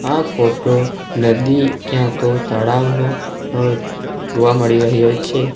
આ ફોટો નદી ક્યાં તો તળાવનો જોવા મળી રહ્યો છે.